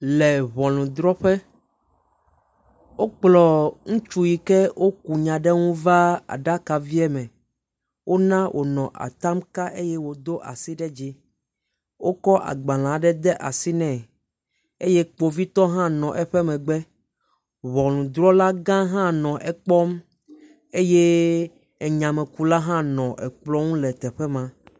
Le ŋɔnudrɔƒe. wokplɔ ŋutsu yike woku nya ɖe ŋu va aɖavie me. Wona wònɔ atam kam eye wòdo asi ɖe dzi. Wokɔ agbalẽ aɖe de asi nɛ eye kpovitɔ hã nɔ eƒe megbe. Ŋɔnudrɔlagã hã nɔ ekpɔm eye enyamekula hã nɔ ekplɔ ŋu le teƒe ma.